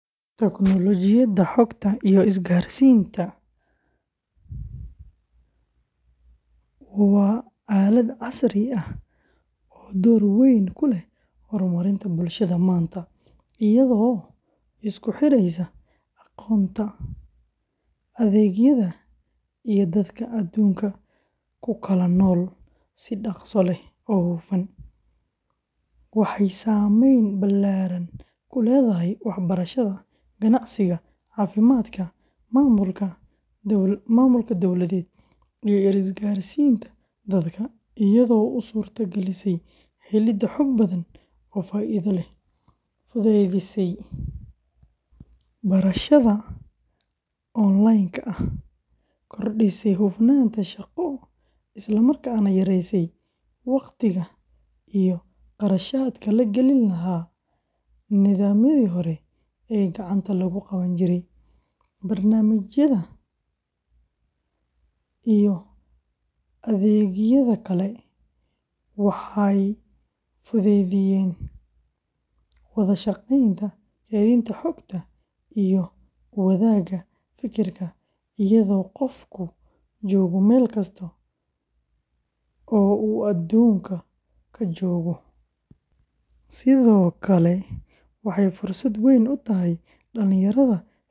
Tiknoolajiyadda Xogta iyo Isgaarsiinta, waa aalad casri ah oo door weyn ku leh horumarinta bulshada maanta, iyadoo isku xiraysa aqoonta, adeegyada, iyo dadka aduunka ku kala nool si dhakhso leh oo hufan; waxay saamayn ballaaran ku leedahay waxbarashada, ganacsiga, caafimaadka, maamulka dawladeed, iyo isgaarsiinta dadka, iyadoo u suurta galisay helidda xog badan oo faa’iido leh, fududeysay barashada online-ka ah, korodhisay hufnaanta shaqo, isla markaana yaraysay waqtiga iyo qarashaadka la geli lahaa nidaamyadii hore ee gacanta lagu qaban jiray; barnaamijyada, iyo adeegyada kale waxay fududeeyeen wada shaqaynta, kaydinta xogta, iyo wadaagga fekerka iyadoo qofku joogo meel kasta oo uu adduunka ka joogo; sidoo kale waxay fursad weyn u tahay dhalinyarada.